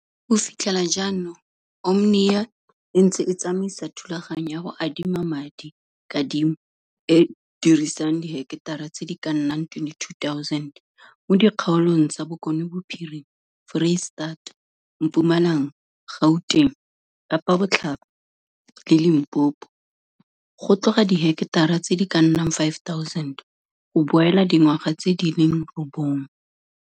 Go fitlhela jaanong Omnia e ntse e tsamaisa thulaganyo ya go adima madi, kadimo, e e dirisang diheketara tse di ka nnang 22 000 mo dikgaolong tsa Bokonebophirima, Foreisitata, Mpumalanga, Gauteng, Kapabotlhaba le Limpopo, go tloga diheketara tse di ka nnang 5 000 go boela dingwaga tse di leng robongwe.